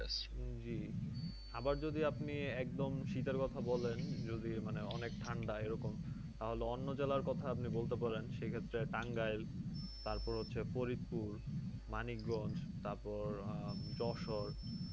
জী জী আপনি একদম শীতের কথা বলেন যদি মানে অনেক ঠান্ডা এরকম তাহলে অন্য জেলার কথা আপনি বলতে পারেন সে সে ক্ষেত্রে টাঙ্গাইল তারপর হচ্ছে ফরিদপর মানিকগঞ্জ তারপর যশোর।